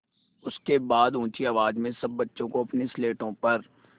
उसके बाद ऊँची आवाज़ में सब बच्चों को अपनी स्लेटों पर